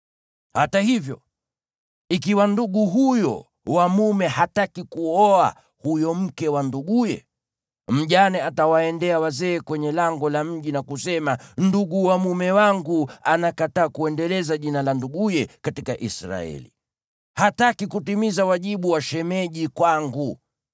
Hata hivyo, ikiwa ndugu huyo wa mume hataki kuoa huyo mke wa nduguye, mjane atawaendea wazee kwenye lango la mji na kusema, “Ndugu wa mume wangu anakataa kuendeleza jina la nduguye katika Israeli. Hataki kutimiza wajibu wa shemeji kwangu.”